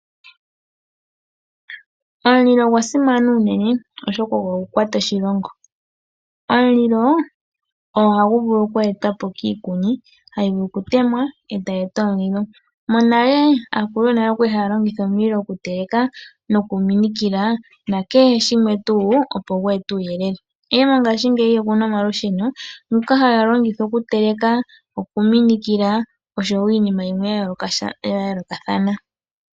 Omulilo ogwa simana unene, oshoka ogo gwa kwata oshilongo. Omulilo ohagu vulu oku etwa po kiikuni hayi vulu okutemwa e tayi gandja omulilo. Monale aakulu yonale oya li haya longitha omulilo okuteleka nokuminikila nakehe shimwe tuu, opo gu ete uuyelele. Ihe ngaashingeyi oku na omalusheno, ngoka haga longithwa okuteleka, okuminikila nosho iinima yilwe ya yoolokathana.